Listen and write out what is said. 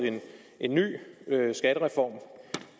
en ny skattereform